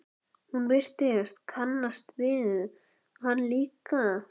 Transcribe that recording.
Hún virtist kannast við hann líka.